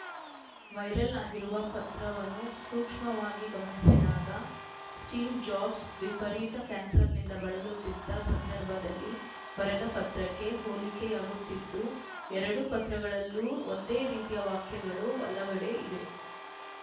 viral ಆಗಿರುವ ಪತ್ರವನು ಸೂಕ್ಷ್ಮವಾಗಿ ಗಮನಿಸಿದಾಗ ಸ್ಟೀವ್‌ ಜಾಬ್ಸ್‌ ವಿಪರೀತ ಕ್ಯಾನ್ಸರ್‌ನಿಂದ ಬಳಲುತ್ತಿದ್ದ ಸಂದರ್ಭದಲ್ಲಿ ಬರೆದ ಪತ್ರಕ್ಕೆ ಹೋಲಿಕೆಯಾಗುತ್ತಿದ್ದು ಎರಡೂ ಪತ್ರಗಳಲ್ಲೂ ಒಂದೇ ರೀತಿಯ ವಾಕ್ಯಗಳು ಹಲವೆಡೆ ಇದೆ